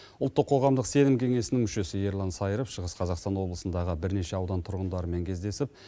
ұлттық қоғамдық сенім кеңесінің мүшесі ерлан саиров шығыс қазақстан облысындағы бірнеше аудан тұрғындарымен кездесіп